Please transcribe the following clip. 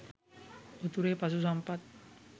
උතුරේ පශු සම්පත්